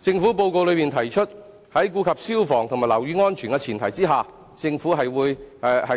施政報告中指出，在顧及消防及樓宇安全的前提下，政府亦